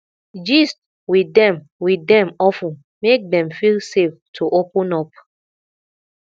gist with dem with dem of ten make dem feel safe to open up